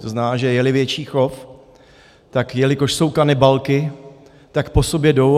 To znamená, že je-li větší chov, tak jelikož jsou kanibalky, tak po sobě jdou.